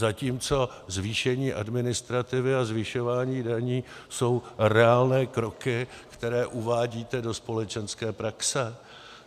Zatímco zvýšení administrativy a zvyšování daní jsou reálné kroky, které uvádíte do společenské praxe.